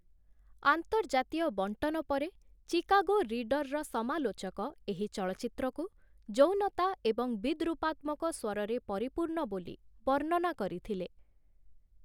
ଆନ୍ତର୍ଜାତୀୟ ବଣ୍ଟନ ପରେ ଚିକାଗୋ ରିଡରର ସମାଲୋଚକ ଏହି ଚଳଚ୍ଚିତ୍ରକୁ 'ଯୌନତା ଏବଂ ବିଦ୍ରୂପାତ୍ମକ ସ୍ଵରରେ ପରିପୂର୍ଣ୍ଣ' ବୋଲି ବର୍ଣ୍ଣନା କରିଥିଲେ ।